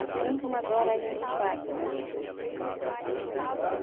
Assim como agora a gente faz, sabe?